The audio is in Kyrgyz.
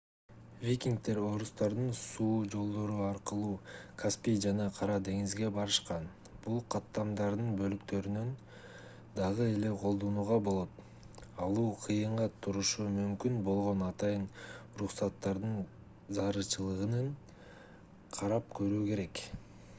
викингдер орустардын суу жолдору аркылуу каспий жана кара деңизге барышкан бул каттамдардын бөлүктөрүн дагы эле колдонууга болот алуу кыйынга турушу мүмкүн болгон атайын уруксаттардын зарылчылыгын карап көрүү керек